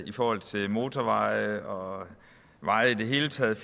i forhold til motorveje og veje i det hele taget